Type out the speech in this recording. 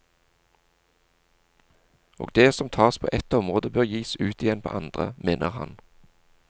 Og det som tas på ett område, bør gis ut igjen på andre, mener han.